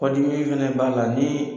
Kɔ dimi fɛnɛ b'a la nii